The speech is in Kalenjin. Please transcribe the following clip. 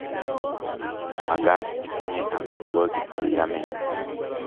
Makaat itenyei amitwokik che yamei